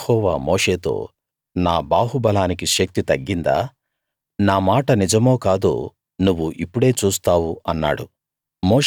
అప్పుడు యెహోవా మోషేతో నా బాహుబలానికి శక్తి తగ్గిందా నా మాట నిజమో కాదో నువ్వు ఇప్పుడే చూస్తావు అన్నాడు